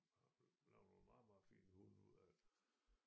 Lavede nogle meget meget fine hunde ud af det